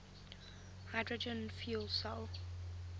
hydrogen fuel cell